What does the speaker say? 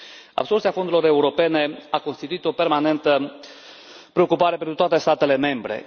Absorbția fondurilor europene a constituit o permanentă preocupare pentru toate statele membre.